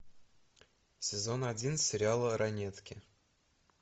сезон один сериала ранетки